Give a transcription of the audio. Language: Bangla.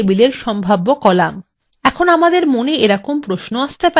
এখন আমাদের মনে এরকম প্রশ্ন আসতে পারে :